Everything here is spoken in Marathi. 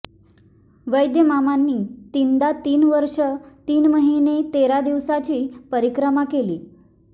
वैद्यमामांनी तीनदा तीन वर्ष तीन महिने तेरा दिवसांची परिक्रमा केली